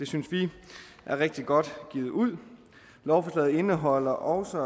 synes vi er rigtig godt givet ud lovforslaget indeholder også